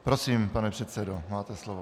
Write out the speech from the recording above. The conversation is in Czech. Prosím, pane předsedo, máte slovo.